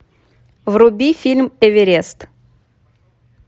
вруби фильм эверест